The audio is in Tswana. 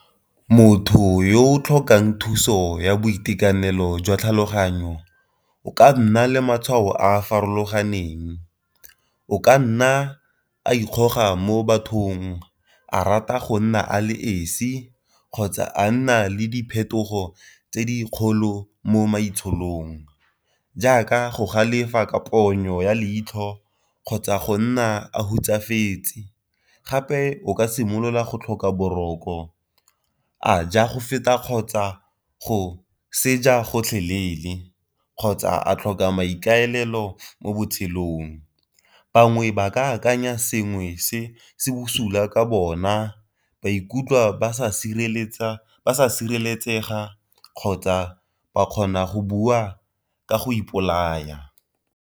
Motho yo o tlhokang thuso ya boitekanelo jwa tlhaloganyo o ka nna le matshwao a a farologaneng o ka nna a ikgoga mo bathong, a rata go nna a le esi, kgotsa a nna le diphetogo tse di kgolo mo maitshololong, jaaka go galefa ka pono ya leitlho, kgotsa go nna a hutsafetse. Gape o ka simolola go tlhoka boroko, a ja go feta kgotsa go gotlhelele, kgotsa a tlhoka maikaelelo mo botshelong. Bangwe ba ka akanya sengwe se se bosula ka bona ba ikutlwa ba sa sireletsega kgotsa ba kgona go bua ka go ipolaya.